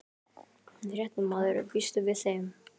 Fréttamaður: Býstu við þeim?